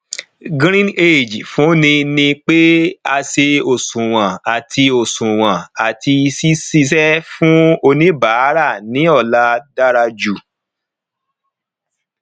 greenage fúnni ní pé a ṣe òṣùwọn àti òṣùwọn àti ṣiṣẹ fífún oníbàárà ní ọlá dára jù